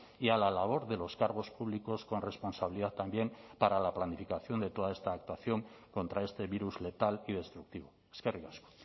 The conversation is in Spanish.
y a la labor de los cargos públicos con responsabilidad también para la planificación de toda esta actuación contra este virus letal y destructivo eskerrik asko